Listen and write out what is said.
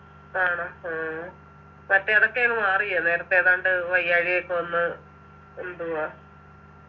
ആണോ ആഹ് മറ്റേ അതൊക്കെ അങ് മാറിയോ നേരത്തെ ഏതാണ്ട് വയ്യാഴിക ഒക്കെ വന്ന് എന്തുവാ